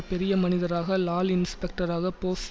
பெரிய மனிதராக லால் இன்ஸ்பெக்டராக போஸ்